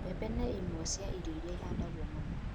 Mbembe nĩ imwe cia irio iria ihandagwo mũno.